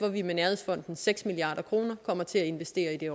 at vi med nærhedsfondens seks milliard kroner kommer til at investere i